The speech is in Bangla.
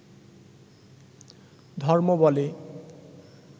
ধর্ম বলে